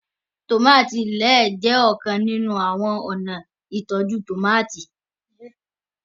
tomati lẹẹ jé ọkan nínú àwọn ọna ìtọjú tomati